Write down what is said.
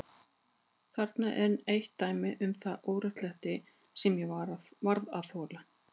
Þarna er enn eitt dæmið um það óréttlæti sem ég varð að þola.